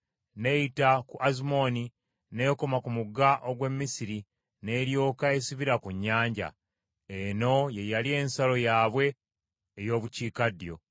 n’eyita ku Azumoni n’ekoma ku mugga ogw’e Misiri, n’eryoka esibira ku nnyanja. Eno ye yali ensalo yaabwe ey’obukiikaddyo.